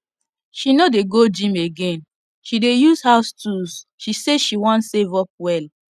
she no dey go gym again she dey use house tools she say she wan save up well